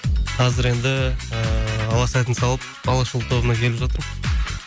қазір енді ыыы алла сәтін салып алашұлы тобына келіп жатырмын